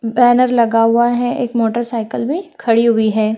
Banner लगा हुआ है एक मोटरसाइकिल भी खड़ी हुई है।